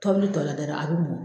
Tɔbili tɔ la dɛɛ a bi mɔ